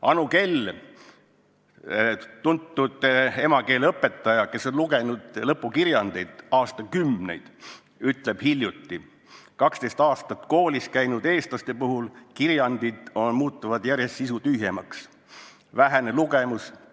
Anu Kell, tuntud emakeeleõpetaja, kes on aastakümneid lugenud lõpukirjandeid, ütles hiljuti, et 12 aastat koolis käinud eestlaste kirjandid muutuvad järjest sisutühjemaks – vähene lugemus.